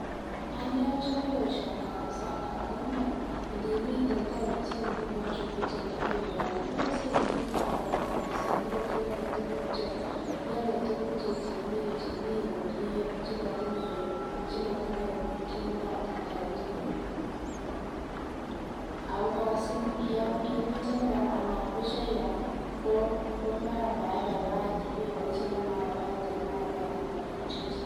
Anee ochome boishoni kabisa ngamun nii indimiten townishek ingunon chun echen ak iwee yon ikose itinye. Kalyet kabisa ot iole tukuk che iole tukuk chechemii komie chemotinye chemotinyee kingwandit aketukul. Ako Koraa sime yemechome Koraa anan besho ial lii ko mara maibaibaitin ibeboishen komaibaibaitin omara kealen rabinik che Chang.